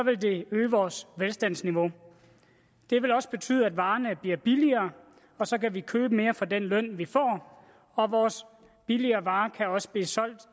det øge vores velstandsniveau det vil også betyde at varerne bliver billigere og så kan vi købe mere for den løn vi får og vores billigere varer kan også blive solgt